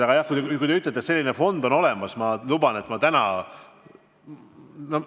Aga jah, kui te ütlete, et selline fond on olemas, siis ma luban, et ma täna ...